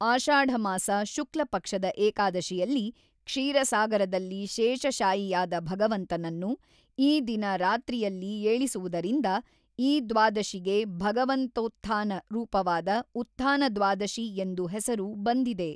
ಆಷಾಢಮಾಸ ಶುಕ್ಲ ಪಕ್ಷದ ಏಕಾದಶಿಯಲ್ಲಿ ಕ್ಷೀರಸಾಗರದಲ್ಲಿ ಶೇಷಶಾಯಿಯಾದ ಭಗವಂತನನ್ನು ಈ ದಿನ ರಾತ್ರಿಯಲ್ಲಿ ಏಳಿಸುವುದರಿಂದ ಈ ದ್ವಾದಶಿಗೆ ಭಗವಂತೋತ್ಥಾನ ರೂಪವಾದ ಉತ್ಥಾನದ್ವಾದಶೀ ಎಂದು ಹೆಸರು ಬಂದಿದೆ.